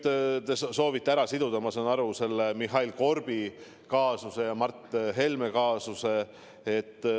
Te soovite siduda, ma saan aru, selle Mihhail Korbi kaasust ja Mart Helme kaasust.